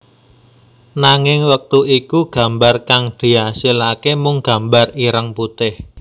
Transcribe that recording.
Nanging wektu iku gambar kang diasilake mung gambar ireng putih